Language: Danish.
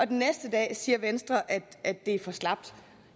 den næste dag siger venstre at det er for slapt